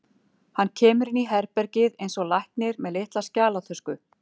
Hann kemur inn í herbergið eins og læknir, með litla skjalatösku.